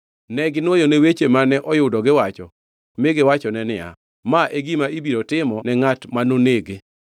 Neginwoyone weche mane oyudo giwacho mi giwachone niya, “Ma e gima ibiro timo ne ngʼat manonege.”